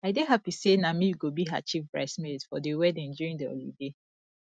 i dey happy say na me go be her chief brides maid for the wedding during the holiday